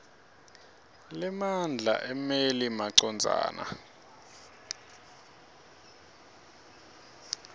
lemandla emmeli macondzana